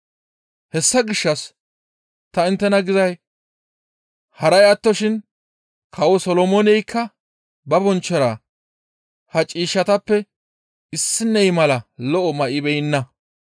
Hessa gishshas ta inttena gizay haray attoshin kawo Solomooneykka ba bonchchora ha ciishshatappe issiney mala lo7o may7ibeenna.